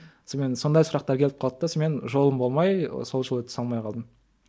сонымен сондай сұрақтар келіп қалды да сонымен жолым болмай сол жолы түсе алмай қалдым